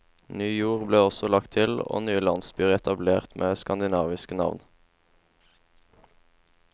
Ny jord ble også lagt til, og nye landsbyer etablert med skandinaviske navn.